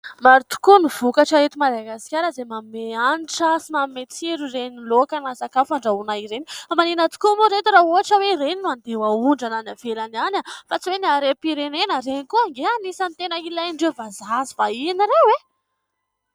Maro tokoa ny vokatra eto Madagasikara izay manome hanitra sy manome tsiro ireny laoka na sakafo andrahoina ireny, fa maninona tokoa moa ry ireto raha ohatra hoe ireny no andeha ho ahondrana any ivelany any? Fa tsy hoe ny harem-pirenena ! Ireny koa anie anisany tena ilain'ireo vazaha sy vahiny ireo e !